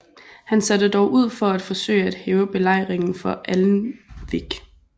Han satte dog ud for at forsøge at hæve belejringen for Alnwick